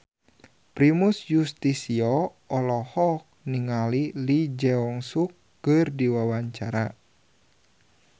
Primus Yustisio olohok ningali Lee Jeong Suk keur diwawancara